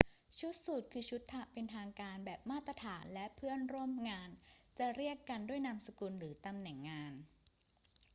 ชุดสูทคือชุดเป็นทางการแบบมาตรฐาน และเพื่อนร่วมงานจะเรียกกันด้วยนามสกุลหรือตำแหน่งงาน